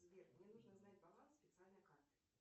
сбер мне нужно знать баланс специальной карты